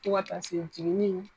Tɔga taa se jiginni